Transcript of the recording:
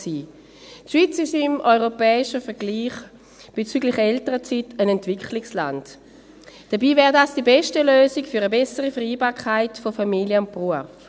Die Schweiz ist bezüglich Elternzeit im europäischen Vergleich ein Entwicklungsland, dabei wäre dies die beste Lösung für eine bessere Vereinbarkeit von Familie und Beruf.